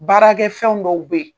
Baarakɛ fɛn dɔw be ye